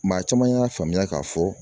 Maa caman y'a faamuya k'a fɔ